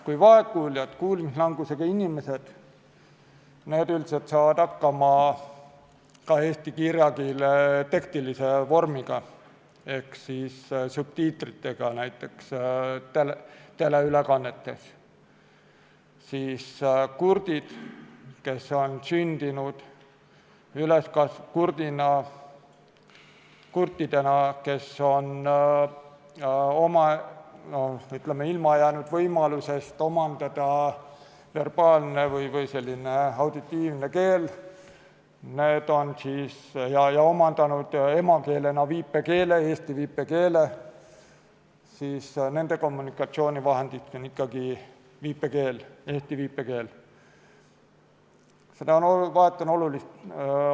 Kui vaegkuuljad, kuulmislangusega inimesed, üldiselt saavad hakkama ka eesti kirjakeele tekstilise vormiga ehk subtiitritega näiteks teleülekannetes, siis kurtidel, kes on sündinud ja üles kasvanud kurtidena ning kes on ilma jäänud võimalusest omandada verbaalne või auditiivne keel ja kes on omandanud emakeelena eesti viipekeele, on kommunikatsioonivahendiks ikkagi viipekeel, eesti viipekeel.